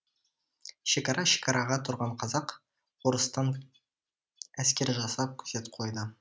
шекара шекараға тұрған казак орыстан әскер жасап күзет қойды